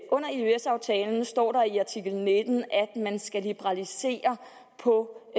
under eøs aftalen står der i artikel nitten at man skal liberalisere på